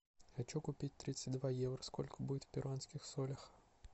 хочу купить тридцать два евро сколько будет в перуанских солях